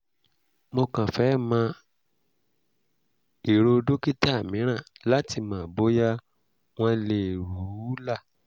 mo kàn fẹ́ mọ èrò dókítà mìíràn láti mọ̀ bóyá wọ́n leè rù ú là